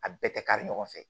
A bɛɛ tɛ kari ɲɔgɔn fɛ